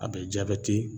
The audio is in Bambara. A bɛ jabɛti